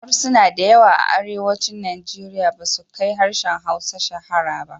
Harsuna da yawa a Arewacin Nigeria basu kai harshen Hausa shahara ba.